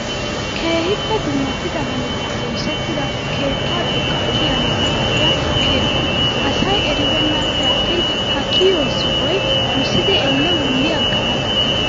Keehippe dummatida hanota oosettida keettaa xoqqaa kiyanawu maaddiyaa keraa. asayi eribeennappe attin ha kiyiyoo sohoyi musidi elle wulli aggana danddayes.